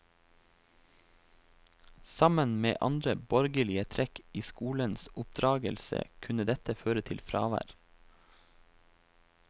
Sammen med andre borgerlige trekk i skolens oppdragelse kunne dette føre til fravær.